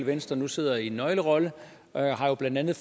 venstre nu sidder i en nøglerolle og jo blandt andet